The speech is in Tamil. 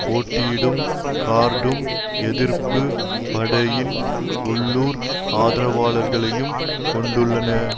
போட்டியிடும் கார்டூம் எதிர்ப்பு படையின் உள்ளூர் ஆதரவாளர்களையும் கொண்டுள்ளன